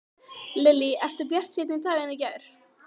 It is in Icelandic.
Lillý: Ertu bjartsýnni í dag en í gær?